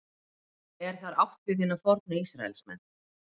er þar átt við hina fornu ísraelsmenn